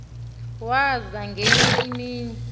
waza ngenye imini